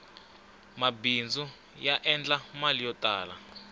mabindzu ya endla mali yo tala